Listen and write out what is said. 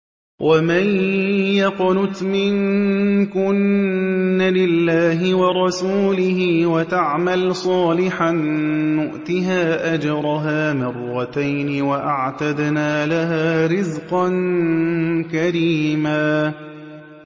۞ وَمَن يَقْنُتْ مِنكُنَّ لِلَّهِ وَرَسُولِهِ وَتَعْمَلْ صَالِحًا نُّؤْتِهَا أَجْرَهَا مَرَّتَيْنِ وَأَعْتَدْنَا لَهَا رِزْقًا كَرِيمًا